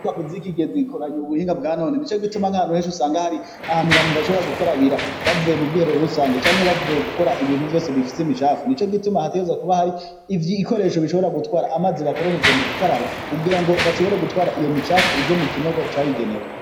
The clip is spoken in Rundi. Wa kuzi ikigezi gikoranya uu buhinga bwa none ni co gituma nk'ahantu henshi usanga hari ahantu bantu bashobora gukarabira bavuye mu bwiherero rusange canke bavuye gukora ibintu vyose bifise imicafu ni co gituma hatereza kuba hari ivyo ikoresho bishobora gutwara amaze bakoresheje mu gukaraba kugira ngo bashobore gutwara iyo micafu ije mu kinogo carigenewe.